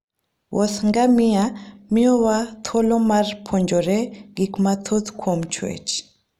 Wuoth ngamia miyowa thuolo mar puonjore gik mathoth kuom chwech.